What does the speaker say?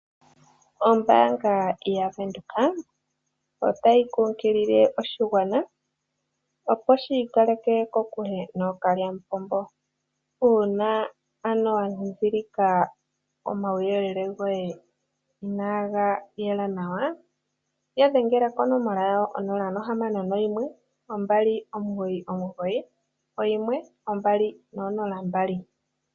Ombaanga yaVenduka otayi kunkilile oshigwana opo shi ikaleke kokule nookalyamupombo. Uuna ano wa dhidhilika omauyelele goye inaga yela nawa, ya dhengela konomola yawo 0612991200.